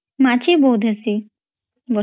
ମାଚୀ ବହୁତ୍ ହେସୀ ବର୍ଷା ରେ